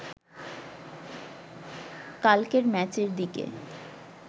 কালকের ম্যাচের দিকে